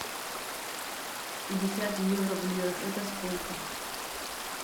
пятьдесят евро в лирах это сколько